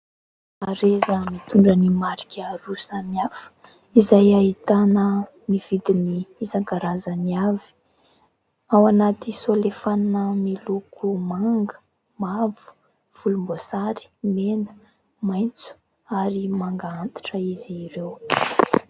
Hareza mitondra ny marika roa samy hafa izay ahitana ny vidiny isan-karazany avy ; ao anaty solefanina miloko manga, mavo, volombosary, mena, maitso ary manga antitra izy ireo.